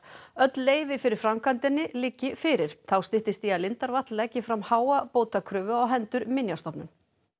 öll leyfi fyrir framkvæmdinni liggi fyrir þá styttist í að lindarvatn leggi fram háa bótakröfu á hendur Minjastofnun